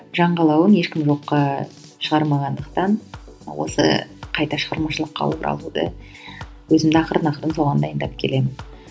жан қалауын ешкім жоққа шығармағандықтан осы қайта шығармашылыққа оралуды өзімді ақырын ақырын соған дайындап келемін